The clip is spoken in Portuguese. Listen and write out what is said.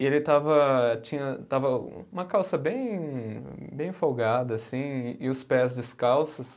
E ele estava eh, tinha, estava uma calça bem bem folgada assim e os pés descalços.